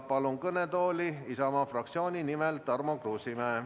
Palun kõnetooli Isamaa fraktsiooni nimel Tarmo Kruusimäe.